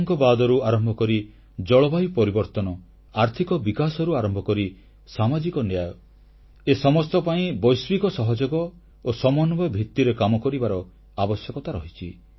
ଆତଙ୍କବାଦରୁ ଆରମ୍ଭ କରି ଜଳବାୟୁ ପରିବର୍ତ୍ତନ ଆର୍ଥିକ ବିକାଶରୁ ଆରମ୍ଭ କରି ସାମାଜିକ ନ୍ୟାୟ ଏ ସମସ୍ତ ପାଇଁ ବୈଶ୍ୱିକ ସହଯୋଗ ଓ ସମନ୍ୱୟ ଭିତ୍ତିରେ କାମ କରିବାର ଆବଶ୍ୟକତା ରହିଛି